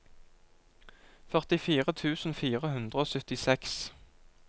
førtifire tusen fire hundre og syttiseks